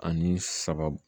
Ani saba